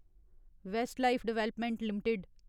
Westlife Development limited